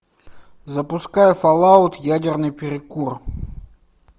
запускай фоллаут ядерный перекур